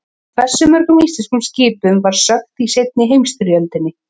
Hversu mörgum íslenskum skipum var sökkt í seinni heimsstyrjöldinni?